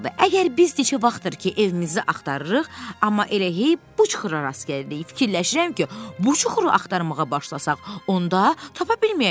Əgər biz neçə vaxtdır ki, evimizi axtarırıq, amma elə bu çuxura rast gəlirik, fikirləşirəm ki, bu çuxuru axtarmağa başlasaq, onda tapa bilməyəcəyik.